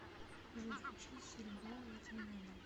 джой включить серебро я тебя не отдам